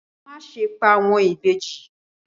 Má ṣe pa àwọn ìbejì.